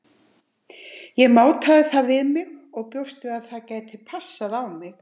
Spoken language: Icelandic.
Ég mátaði það við mig og bjóst við að það gæti passað á mig.